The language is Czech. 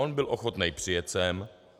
On byl ochotný přijet sem.